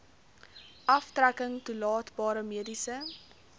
aftrekking toelaatbare mediese